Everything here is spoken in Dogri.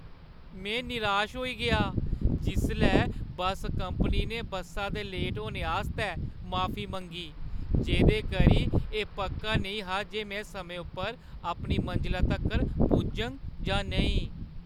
में निराश होई गेआ जिसलै बस्स कंपनी ने बस्सा दे लेट होने आस्तै माफी मंगी, जेह्दे करी एह् पक्का नेईं हा जे में समें उप्पर अपनी मंजला तक्कर पुज्जङ जां नेईं।